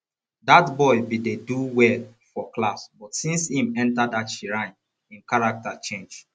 dat boy bin dey do well for class but since im enter that shrine im character change